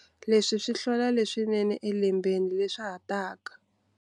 Leswi swi hlola leswinene elembeni leswa ha taka.